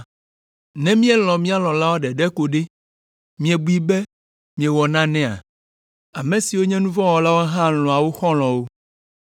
“Ne mielɔ̃ mia lɔ̃lawo ɖeɖe ko ɖe, miebui be miewɔ nanea? Ame siwo nye nu vɔ̃ wɔlawo hã lɔ̃a wo xɔlɔ̃wo.